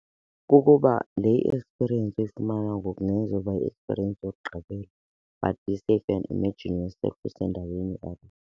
Kukuba le i-experience uyifumana ngoku kungenzeka uba yi-experience yokugqibela but .